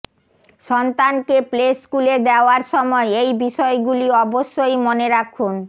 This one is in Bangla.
সন্তান কে প্লে স্কুলে দেওয়ার সময় এই বিষয়গুলি অবশ্যই মনে রাখুন